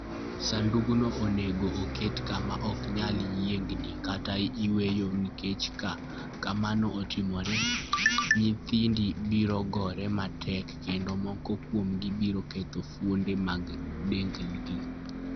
Sandugno onego oket kama ok nyal yiengni kata yweyo nikech ka mano otimore, nyithindi biro gore matek kendo moko kuomgi biro ketho fuonde mag dendgi.